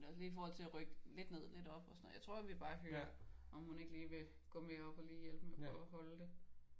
Men også i forhold til at rykke lidt ned lidt op og sådan noget. Jeg tror vi bare hører om hun ikke lige vil gå med op og lige hjælpe med at prøve at holde det